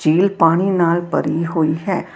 ਝੀਲ ਪਾਣੀ ਨਾਲ ਭਰੀ ਹੋਈ ਹੈ।